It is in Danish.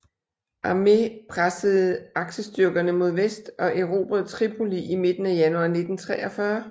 Armé pressede aksestyrkerne mod vest og erobrede Tripoli i midten af januar 1943